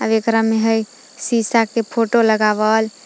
आव एकरा में हइ शीशा के फोटो लगावल।